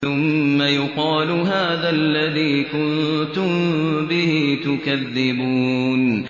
ثُمَّ يُقَالُ هَٰذَا الَّذِي كُنتُم بِهِ تُكَذِّبُونَ